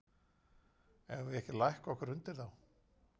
Eigum við ekki að lækka okkur undir þá?